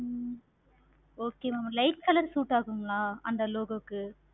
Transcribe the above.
ஹம் okay ma'am light color suit ஆகுங்களா அந்த logo க்கு